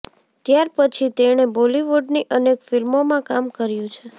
ત્યારપછી તેણે બોલિવૂડની અનેક ફિલ્મોમાં કામ કર્યું છે